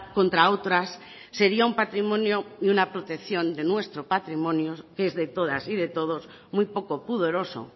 contra otras sería un patrimonio y una protección de nuestro patrimonio que es de todas y de todos muy poco pudoroso